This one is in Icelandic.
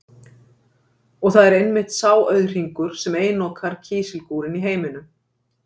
Og það er einmitt sá auðhringur, sem einokar kísilgúrinn í heiminum.